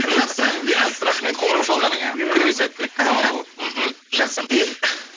жақсы мирас рахмет қоңырау шалғаныңа күніңе сәттілік аман бол мхм жақсы